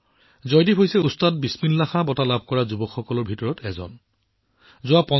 জয়দীপ জী ওস্তাদ বিছমিল্লা খান বঁটাৰে সন্মানিত যুৱসকলৰ ভিতৰত আছে